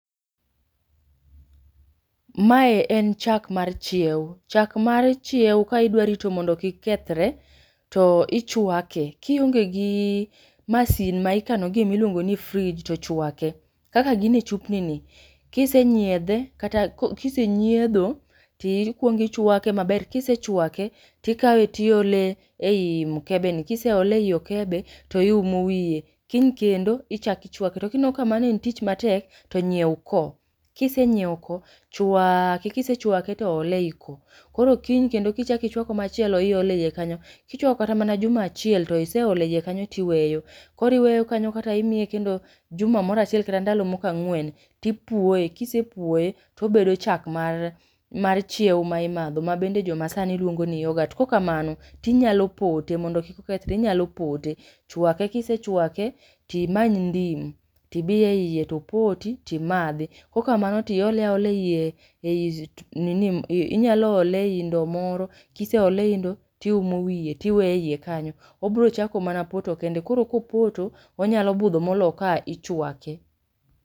Mae en chak mar chieo, chak mar chieo ka idwa rito mondo kik kethre to ichwake, ka ionge gi masin mikano gie miluongo ni fridge to chwake. Kaka gin e chupni ni kisenyiedhe kata ko kisenyiedho to ikuongo ichwake maber, kisechwake to ikawe tiole ei mkebe ni. Kiseole ei okebe to iumo wiye, kiny kendo ichak ichwake to kineno ka mano en tich matek to nyieo ko, kisenyieo ko chwaake kisechwake to ole ei ko, koro kiny kendo ka ichwako machielo to iole e ei kanyo, kichwako kata mana juma achiel to iseole ie kanyo to iweyo. Koro iweyo kanyo kata imiye kendo juma mor achiel kata ndalo moko ang'wen, tipuoe kisepuoe to obedo chak mar mar chieo ma imadho ma bende jomasani luongo ni yoghurt. Kokamano, tinyalo pote mondo kik okethre, inyalo pote. Chwake kisechwake to imany ndim tibi e ie topoti timadhi, kokamano to iole aola e ie e nini inyalo ole ei ndo moro, kiseole ei ndo tiumo wiye tiweye e ie kanyo, obro chako mana poto kende. Koro kopoto onyalo budho molo ka ichwake.